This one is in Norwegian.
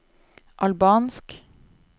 albansk